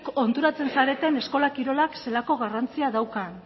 konturatzen zareten eskola kirolak zelako garrantzia daukan